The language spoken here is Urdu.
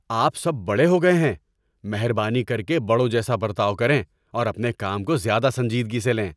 آپ سب بڑے ہو گئے ہیں! مہربانی کر کے بڑوں جیسا برتاؤ کریں اور اپنے کام کو زیادہ سنجیدگی سے لیں۔